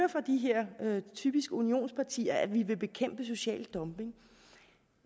hører typiske unionspartier at de vil bekæmpe social dumping